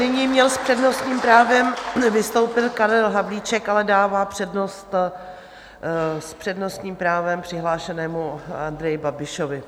Nyní měl s přednostním právem vystoupit Karel Havlíček, ale dává přednost s přednostním právem přihlášenému Andreji Babišovi.